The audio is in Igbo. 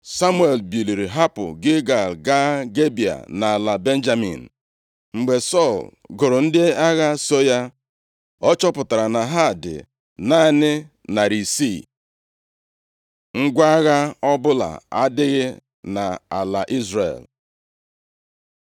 Samuel biliri hapụ Gilgal gaa Gibea nʼala Benjamin. Mgbe Sọl gụrụ ndị agha so ya, ọ chọpụtara na ha dị naanị narị isii. Ngwa agha ọbụla adịghị nʼala Izrel